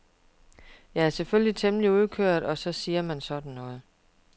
Jeg er selvfølgelig temmelig udkørt og så siger man sådan noget.